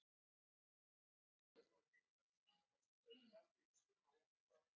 Ólafur Ragnar Grímsson, forseti Íslands: Hvað getur hann orðið langur?